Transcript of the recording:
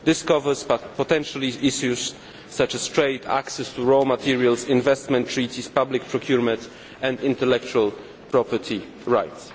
This covers potential issues such as trade, access to raw materials, investment treaties, public procurement and intellectual property rights.